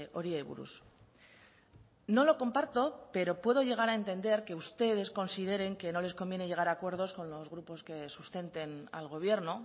horiei buruz no lo comparto pero puedo llegar a entender que ustedes consideren que no les conviene llegar a acuerdos con los grupos que sustenten al gobierno